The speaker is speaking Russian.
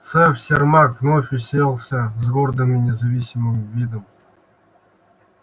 сэф сермак вновь уселся с гордым и независимым видом